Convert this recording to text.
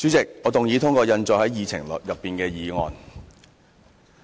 主席，我動議通過印載於議程內的議案。